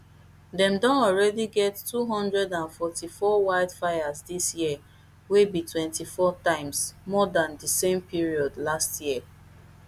dem don already get two hundred and forty-four wildfires dis year wey be twenty-four times more dan di same period last year